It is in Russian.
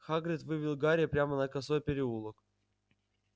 хагрид вывел гарри прямо на косой переулок